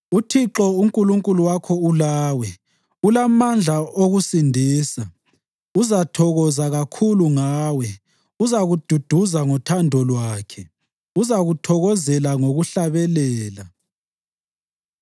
UThixo uNkulunkulu wakho ulawe, ulamandla okusindisa. Uzathokoza kakhulu ngawe, uzakududuza ngothando lwakhe, uzakuthokozela ngokuhlabelela.”